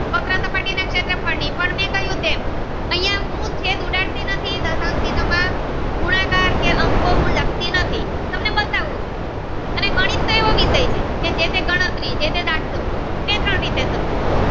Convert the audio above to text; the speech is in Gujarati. પડી પણ મેં કહ્યું એમ અહ્યા હું છેદ ઉડાડતી નથી દશાંશ ચિન્હ માં ગુણાકાર કે હું લખતી નથી તમને બતાવું ચુ અને ગણિત એવી વિસય છે કે જેતે ગણતરી જે તે દાખલો કે તારણ રીતે થતું હોય.